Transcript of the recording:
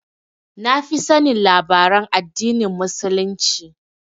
Na fi sanin labaran addinin Muslunci